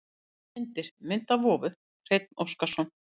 Myndir: Mynd af vofu: Hreinn Óskarsson.